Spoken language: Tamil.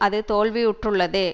அது தோல்வியுற்றுள்ளது